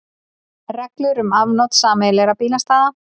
Reglur um afnot sameiginlegra bílastæða.